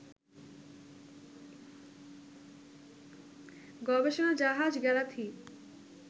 গবেষণা জাহাজ গ্যালাথি,